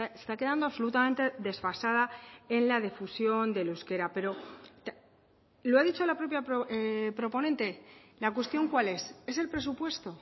está quedando absolutamente desfasada en la difusión del euskera pero lo ha dicho la propia proponente la cuestión cuál es es el presupuesto